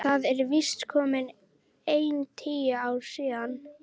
Það eru víst komin ein tíu ár síðan.